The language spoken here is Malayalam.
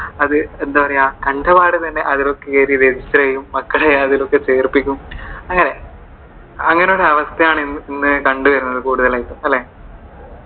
അത് എന്താ പറയുവാ, കണ്ട പാടെ തന്നെ അതിലേക്കു കേറി register ചെയ്യും മക്കളെ അതിലേക്കു ചേർപ്പിക്കും അങ്ങനെ. അങ്ങനെ ഒരു അവസ്ഥ ആണ് ഇന്ന് കണ്ടുവരുന്നത് കൂടുതലും, അല്ലെ.